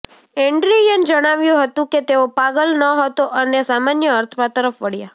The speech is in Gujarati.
એડ્રીયન જણાવ્યું હતું કે તેઓ પાગલ ન હતો અને સામાન્ય અર્થમાં તરફ વળ્યા